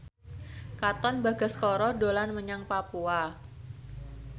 Katon Bagaskara dolan menyang Papua